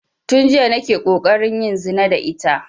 Tun jiya nake ƙoƙarin yin zina da ita